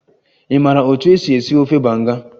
Ị maara otú e si esi ofe banga?